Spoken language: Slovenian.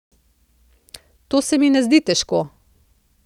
To se mi ne zdi težko.